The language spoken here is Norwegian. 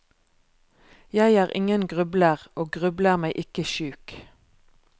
Jeg er ingen grubler, og grubler meg ikke sjuk.